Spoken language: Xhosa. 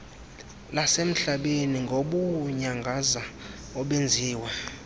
lasemhlabeni ngobuunyangaza obenziwe